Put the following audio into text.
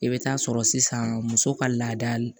I bɛ taa sɔrɔ sisan muso ka laada